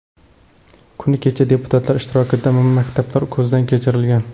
Kuni kecha deputatlar ishtirokida maktablar ko‘zdan kechirilgan.